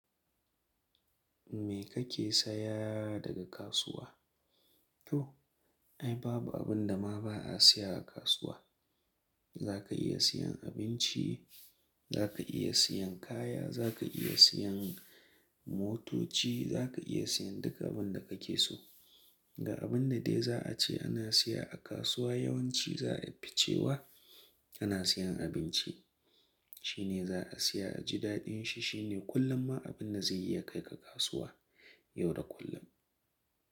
Me kake saya daga kasuwa? To ai babu abin da ma ba a siya a kasuwa. Za ka iya siyan abinci, za ka iya siyan kaya, za ka iya siyan motoci, za ka iya siyan duk abin da kake so. Ga abin da dai za a ce ana siya a kasuwa yawanci za a fi cewa ana siyan abinci. Shi ne za a siya a jidaɗin shi. Shi ne kullum ma abin da zai iya kai ka kasuwa yau da kullum.